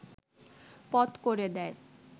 পথ করে দেয়